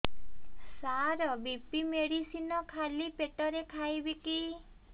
ସାର BP medicine ଖାଲି ପେଟରେ ଖାଇବି କି